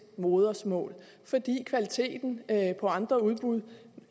modersmål fordi kvaliteten på andre udbud